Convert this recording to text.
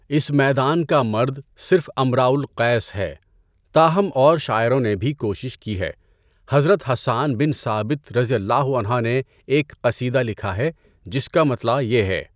اس میدان کا مرد صرف امرء القیس ہے، تاہم اور شاعروں نے بھی کوشش کی ہے۔ حضرت حسان بن ثابت رضی اللہ عنہ نے ایک قصیدہ لکھا ہے جس کا مطلع یہ ہے۔